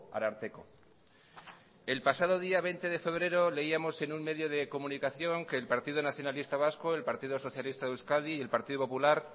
ararteko el pasado día veinte de febrero leíamos en un medio de comunicación que el partido nacionalista vasco el partido socialista de euskadi y el partido popular